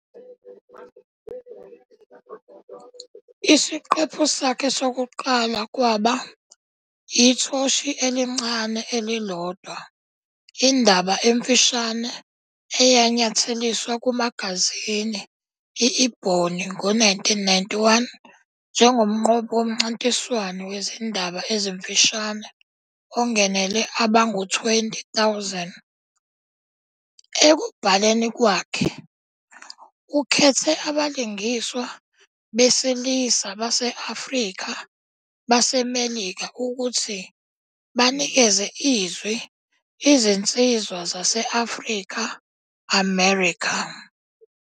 Isiqephu sakhe sokuqala kwaba "Ithoshi Elincane Elilodwa", indaba emfushane eyanyatheliswa kumagazini i -Ebony ngo-1991 njengomnqobi womncintiswano wezindaba ezimfushane ongenele abangu-20,000. Ekubhaleni kwakhe, ukhethe abalingiswa besilisa base-Afrika-baseMelika ukuthi banikeze izwi izinsizwa zase-Afrika-America.